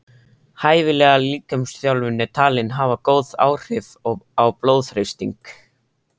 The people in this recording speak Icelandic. Hæfileg líkamsþjálfun er talin hafa góð áhrif á blóðþrýsting.